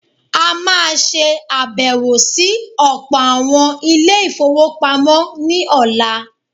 A má a ṣe àbẹ̀wọ̀ sí ọ̀pọ̀ àwọn Ilé-ìfowópamọ́ ní ọ̀la.